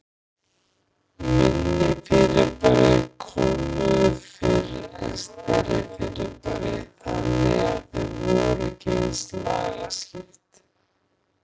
Minni fyrirbæri kólnuðu fyrr en stærri fyrirbæri, þannig að þau voru ekki eins lagskipt.